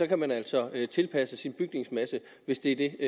kan man altså tilpasse sin bygningsmasse hvis det er det